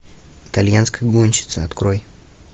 итальянская гонщица открой